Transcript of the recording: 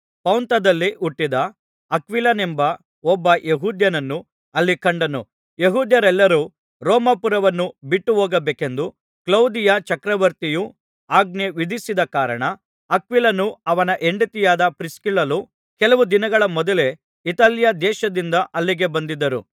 ಪೊಂತದಲ್ಲಿ ಹುಟ್ಟಿದ ಅಕ್ವಿಲನೆಂಬ ಒಬ್ಬ ಯೆಹೂದ್ಯನನ್ನು ಅಲ್ಲಿ ಕಂಡನು ಯೆಹೂದ್ಯರೆಲ್ಲರೂ ರೋಮಾಪುರವನ್ನು ಬಿಟ್ಟುಹೋಗಬೇಕೆಂದು ಕ್ಲೌದಿಯ ಚಕ್ರವರ್ತಿಯು ಆಜ್ಞೆ ವಿಧಿಸಿದ ಕಾರಣ ಅಕ್ವಿಲನೂ ಅವನ ಹೆಂಡತಿಯಾದ ಪ್ರಿಸ್ಕಿಲ್ಲಳೂ ಕೆಲವು ದಿನಗಳ ಮೊದಲೇ ಇತಾಲ್ಯ ದೇಶದಿಂದ ಅಲ್ಲಿಗೆ ಬಂದಿದ್ದರು